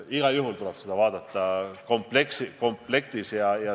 Igal juhul tuleb neid kõiki vaadata komplektis.